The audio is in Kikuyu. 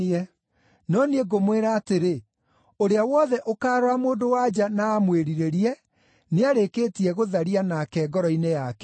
No niĩ ngũmwĩra atĩrĩ, ũrĩa wothe ũkaarora mũndũ-wa-nja na amwĩrirĩrie, nĩarĩkĩtie gũtharia nake ngoro-inĩ yake.